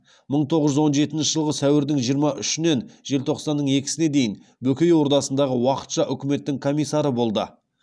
мың тоғыз жүз он жетінші жылғы сәуірдің жиырма үшінен желтоқсанның екісіне дейін бөкей ордасындағы уақытша үкіметтің комиссары болды